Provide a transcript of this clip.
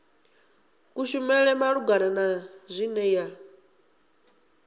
kushumele malugana na zwine ya